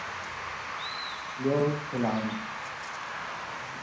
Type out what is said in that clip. Ljóð til afa.